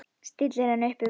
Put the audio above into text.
Stillir henni upp við vegg.